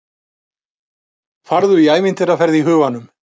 Farðu í ævintýraferð í huganum.